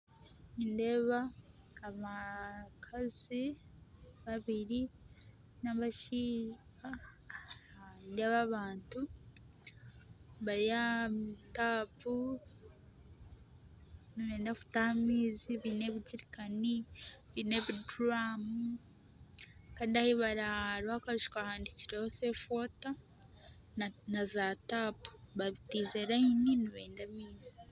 Nindeeba abakazi babiri nabashaija nindeeba abantu bari aha taapu nibenda kutaha amaizi baine ebijerikani baine ebiduramum Kandi ahi bari hariho akaju kahandikireho safe water na za tapu bataire rayini nibeenda amaizi